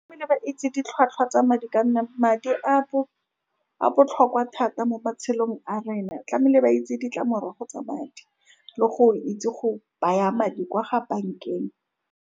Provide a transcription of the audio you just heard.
Tlamehile ba itse ditlhwatlhwa tsa madi, ka nna madi a a botlhokwa thata mo matshelong a rena. Tlamehile ba itse ditlamorago tsa madi le go itse go baya madi kwa ga bankeng.